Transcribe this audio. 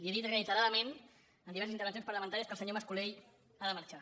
he dit reiteradament en diverses intervencions parlamentàries que el senyor mascolell ha de marxar